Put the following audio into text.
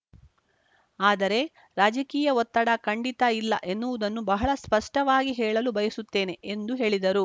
ಆದರೆ ರಾಜಕೀಯ ಒತ್ತಡ ಖಂಡಿತ ಇಲ್ಲ ಎನ್ನುವುದನ್ನು ಬಹಳ ಸ್ಪಷ್ಟವಾಗಿ ಹೇಳಲು ಬಯಸುತ್ತೇನೆ ಎಂದು ಹೇಳಿದರು